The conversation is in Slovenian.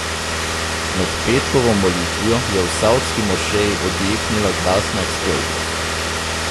Med petkovo molitvijo je v savdski mošeji odjeknila glasna eksplozija.